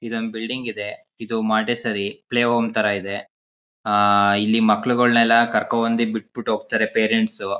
ಇದ್ಹೊಂದು building ಇದೆ. ಇದು Montessori play home ತರ ಇದೆ. ಆ ಇಲ್ಲಿ ಮಕ್ಕಳುಗಳನ್ನ ಕರ್ಕೊಂಡ್ಬಂದು ಬಿಟ್ಬಿಟ್ಟು ಹೋಗ್ತಾರೆ ಪೇರೆಂಟ್ಸ್ .